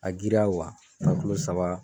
A giriya wa, taa kilo saba